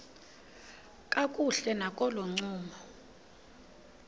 kakuhle nakolo ncumo